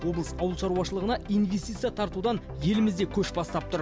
облыс ауыл шаруашылығына инвестиция тартудан елімізде көш бастап тұр